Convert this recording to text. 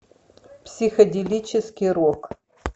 психоделический рок